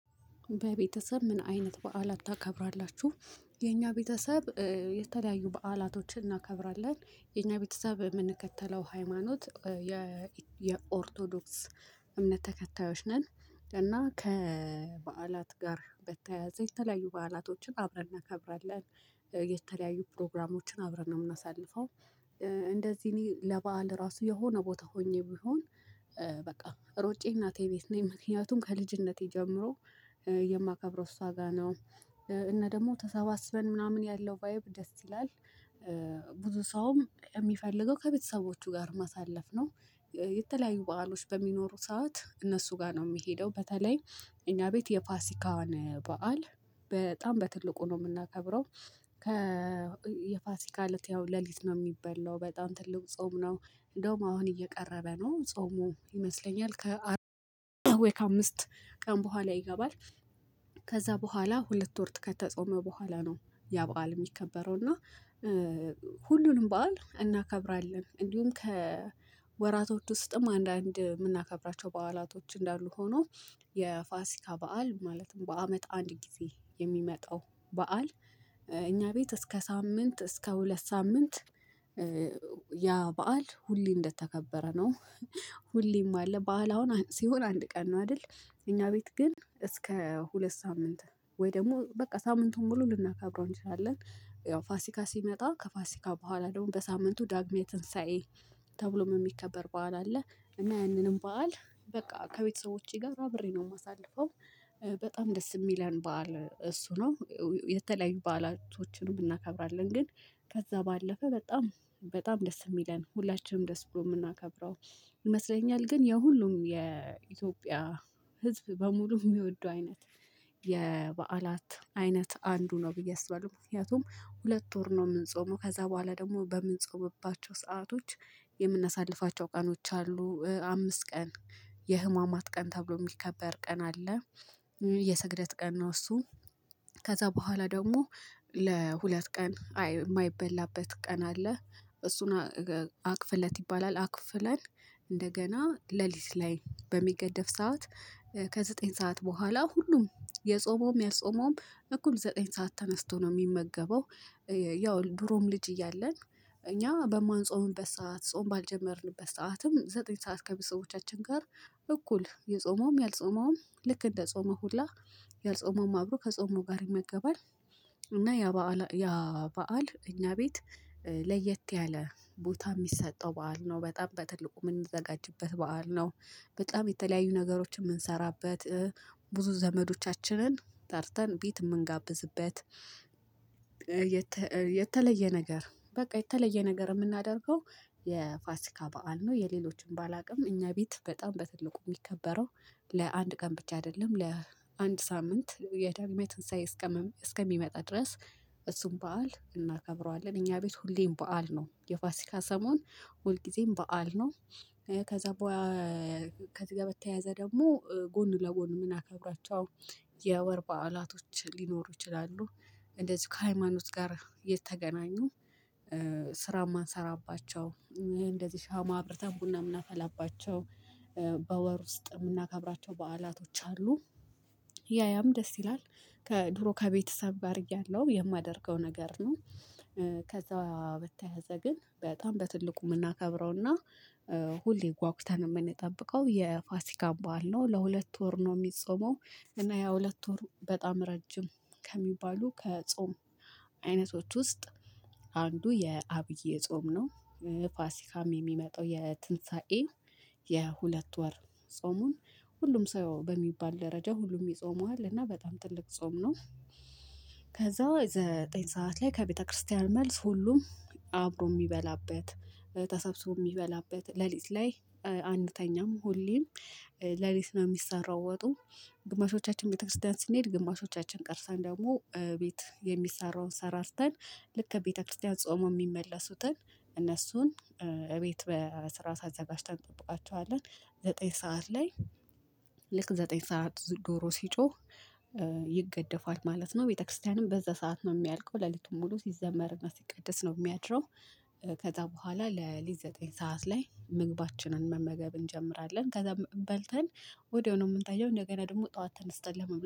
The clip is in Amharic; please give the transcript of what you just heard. በቤተሰብ ምን አይነት በዓላት ታከብራላችሁ? የኛ ቤተሰብ የተለያዩ በዓላቶችን እናከብራለን የኛ ቤተሰብ የምንከተለው ሃይማኖት የኦርቶዶክስ እምነት ተከታዮች ነን እና ከበዓላት ጋር በተያያዘ የተለያዩ በዓላቶችን አብረን እናከብራለን። የተለያዩ ፕሮግራሞችን አብረን ነው የምናሳልፈው። እንደዚህ ለበአል ራሱ የሆነ ቦታ ሆኜ ቢሆን በቃ ሮጬ እናቴ ቤት ነኝ ምክንያቱም ከልጅነቴ ጀምሮ የማከብረው እሷ ጋር ነው። እና ደግሞ ተሰባስበን ምናምን ያለው ቫይብ ደስ ይላል። ብዙ ሰውም የሚፈልገው ከቤተሰቦቹ ጋር ማሳለፍ ነው። የተለያዩ በዓሎች በሚኖሩ ሰዓት እነሱ ጋር ነው የሚሄደው በተለይ። እኛ ቤት የፋሲካዋን በዓል በጣም በትልቁ ነው የምናከብረው። ከ የፋሲካ እለት ያው ሌሊት ነው የሚበላው በጣም ትልቅ ጾም ነው። እንደውም አሁን እየቀረበ ነው ጾሙ ይመስለኛል ከአራት አምስት ቀን በኋላ ይገባል። ከዛ በኋላ ሁለት ወር ከተጾመ በኋላ ነው ያ በዓል የሚከበረው እና። ሁሉንም በዓል እናከብራለን እንዲሁም ከወራቶች ውስጥም አንዳንድ የምናከብራቸው በዓላቶች እንዳሉ ሆኖ። የፋሲካ በዓል ማለትም በአመት አንድ ጊዜ የሚመጣው በዓል እኛ ቤት እስከ ሳምንት እስከ ሁለት ሳምንት ያ በዓል ሁሌ እንደተከበረ ነው። ሁሌም አለ በዓል አሁን ሲሆን አንድ ቀን ነው አይደል? እኛ ቤት ግን እስከ ሁለት ሳምንት ወይ ደግሞ በቃ ሳምንቱን ሙሉ ልናከብረው እንችላለን። ያው ፋሲካ ሲመጣ ከፋሲካ በኋላ ደግሞ በሳምንቱ ዳግማዊ ትንሳኤ ተብሎ የሚከበር በዓል አለ። እና ያንንም በዓል በቃ ከቤተሰቦቼ ጋር አብሬ ነው የማሳልፈው። በጣም ደስ የሚለን በዓል እሱ ነው። የተለያዩ በዓላቶችን እናከብራለን ግን። ከዛ ባለፈ በጣም በጣም ደስ የሚለን ሁላችንም ደስ ብሎ የምናከብረው ይመስለኛል ግን የሁሉም የኢትዮጵያ ህዝብ በሙሉ የሚወዱ አይነት የበዓላት አይነት አንዱ ነው ብዬ አስባለሁ። ምክንያቱም ሁለት ወር ነው የምንጾመው ከዛ በኋላ ደግሞ በምንፆምባቸው ሰአቶች የምናሳልፋቸው ቀኖች አሉ አምስት ቀን የህማማት ቀን ተብሎ የሚከበር ቀን አለ። የስግደት ቀን ነው እሱ። ከዛ በኋላ ደግሞ ለሁለት ቀን አይ የማይበላበት ቀን አለ። እሱን አክፍለት ይባላል አክፍለን። እንደገና ሌሊት ላይ በሚገደፍ ሰዓት ከዘጠኝ ሰዓት በኋላ ሁሉም የጾመውም ያልጾመውም እኩል ዘጠኝ ሰዓት ተነስቶ ነው የሚመገበው። ያው ድሮም ልጅ እያለን እኛ በማንጾምበት ሰዓት ጾም ባልጀመርንበት ሰዓትም ዘጠኝ ሰዓት ከቤተሰዎቻችን ጋር እኩል የጾመውም ያልጾመውም ልክ እንደ ጾመው ሁላ ያልጾመውም አብሮ ከጾመው ጋር ይመገባል። እና ያ በዓል ያ በዓል እኛ ቤት ለየት ያለ ቦታ የሚሰጠው በዓል ነው በጣም በትልቁ የምንዘጋጅበት በዓል ነው። በጣም የተለያዩ ነገሮችን የምንሰራበት ብዙ ዘመዶቻችንን ጠርተን ቤት የምንጋብዝበት። የተለየ ነገር በቃ የተለየ ነገር የምናደርገው። የፋሲካ በዓል ነው የሌሎችን ባላውቅም እኛ ቤት በጣም በትልቁ የሚከበረው ለአንድ ቀን ብቻ አይደለም ለአንድ ሳምንት የዳግሜ ትንሳኤ እስከም እስከሚመጣ ድረስ እሱን በዓል እናከብረዋለን። እኛ ቤት ሁሌም በዓል ነው የፋሲካ ሰሞን ሁል ጊዜም በዓል ነው። ከዚህ ጋር በተያያዘ ደግሞ ጎን ለጎን የምናከብራቸው የወር በዓላቶች ሊኖሩ ይችላሉ። እንደዚሁ ከሃይማኖት ጋር የተገናኙ። ስራ የማንሰራባቸው እንደዚህ ሻማ አብርተን ቡና ምናፈላባቸው። በወር ውስጥ የምናከብራቸው በዓላቶች አሉ። ያያም ደስ ይላል። ከድሮ ከቤተሰብ ጋር እያለሁ የማደርገው ነገር ነው። ከዛ በተያያዘ ግን በጣም በትልቁ የምናከብረውና ሁሌ ጓጉታን የምንጠብቀው የፋሲካ በዓል ነው ለሁለት ወር ነው የሚጾመው። እና ያ ሁለት ወር በጣም ረጅም ከሚባሉ ከጾም አይነቶች ውስጥ አንዱ የአብይ ጾም ነው። ፋሲካም የሚመጣው የትንሳኤን የሁለት ወር ጾሙን ሁሉም ሰው በሚባል ደረጃ ሁሉም ይጾመዋል እና በጣም ትልቅ ጾም ነው። ከዛ ዘጠኝ ሰዓት ላይ ከቤተክርስቲያን መልስ ሁሉም አብሮ የሚበላበት ተሳብሶ የሚበላበት ሌሊት ላይ አንተኛም ሆሌም ሌሊት ነው የሚሰራው ወጡ። ግማሾቻችን ቤተክርስቲያን ስንሄድ ግማሾቻችን ቀርተን ደግሞ ቤት የሚሰራውን ሰራርተን ልክ ቤተክርስቲያን ጾመው የሚመለሱትን እነሱን እቤት በስርዓት አዘጋጅተን እንጠብቃቸዋለን። ዘጠኝ ሰዓት ላይ ልክ ዘጠኝ ሰዓት ዶሮ ሲጮህ ይገደፋል ማለት ነው። ቤተክርስቲያንም በዛ ሰዓት ነው የሚያልቀው ሌሊቱን ሙሉ ሲዘመርና ሲቀድስ ነው የሚያድረው። ከዛ በኋላ ለሊት ዘጠኝ ሰዓት ላይ ምግባችንን መመገብ እንጀምራለን ከዛም በልተን ወዲያው ነው የምንተኛው እንደገና ደግሞ ጠዋት ተነስተን ለመብላ